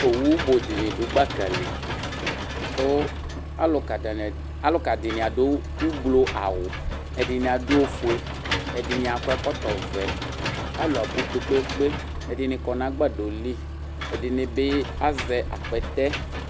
Owʋ bʋ dini dʋ gbaka li kʋ alʋka dini adʋ ʋblɔ awʋ ɛdini adʋ ofue ɛdini akɔ ɛkɔtɔvɛ alʋ abʋ kpe kpe kpe ɛdini kɔnʋ agbadɔli ɛdini bi azɛ akpɛtɛ